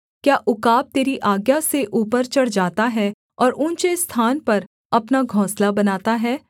क्या उकाब तेरी आज्ञा से ऊपर चढ़ जाता है और ऊँचे स्थान पर अपना घोंसला बनाता है